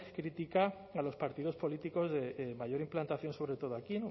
critica a los partidos políticos de mayor implantación sobre todo aquí